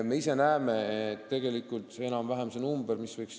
Kui palju võiks tippspetsialiste siia tulla?